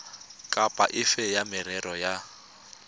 kapa efe ya merero ya